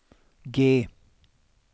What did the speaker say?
G